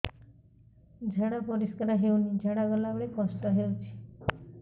ଝାଡା ପରିସ୍କାର ହେଉନି ଝାଡ଼ା ଗଲା ବେଳେ କଷ୍ଟ ହେଉଚି